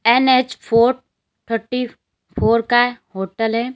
NH four thirty four का hotel है।